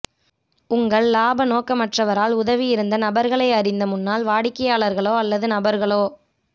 உங்கள் இலாப நோக்கமற்றவரால் உதவியிருந்த நபர்களை அறிந்த முன்னாள் வாடிக்கையாளர்களோ அல்லது நபர்களோ